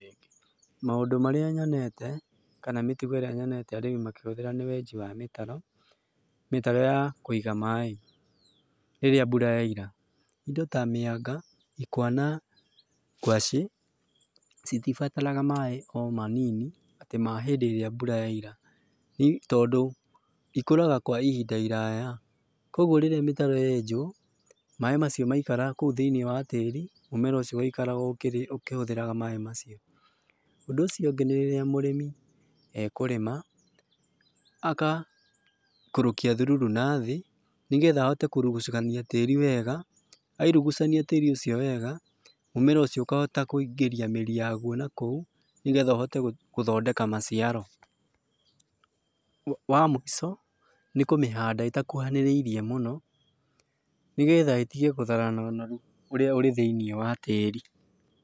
Maũndũ marĩa nyonete, kana mĩtugo ĩrĩa nyonete arĩmi makĩhũthĩra nĩ wenji wa mĩtaro, mĩtaro ya kũiga maĩ rĩrĩa mbura yaira. Ĩndo ta mĩanga, ikwa na ngwace citibataraga maĩ o manini atĩ mahĩndĩ ĩrĩa mbura yaira tondũ ikũraga kwa ihinda iraya. Koguo rĩrĩa mĩtaro yenjwo maĩ macio maikara kũu thĩinĩ wa tĩri mũmera ũcio ũgaikara o ũkihũthagĩra maĩ macio. Ũndũ ũcio ũngĩ nĩ rĩrĩa mũrĩmi ekũrĩma, agaikũrũkia thururu nathĩ nĩgetha ahote kũrugucania tĩri wega airugucania tĩri ũcio wega mũmera ũcio ũkahota kũingĩria mĩri yayo nakũu nĩgetha ũhote gũthodeka maciaro. Wa mũico, nĩ kũmĩhanda ĩtakũhanĩrĩirĩe mũno nĩgetha ĩtige gũtharana ũnoru ũrĩa ũrĩ thĩinĩ wa tĩri.